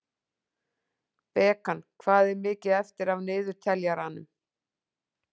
Bekan, hvað er mikið eftir af niðurteljaranum?